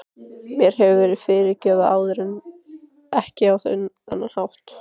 Mér hefur verið fyrirgefið áður en ekki á þennan hátt.